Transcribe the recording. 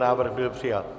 Návrh byl přijat.